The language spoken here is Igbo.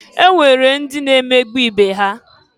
E nwere ndị na emegbu ibe ha.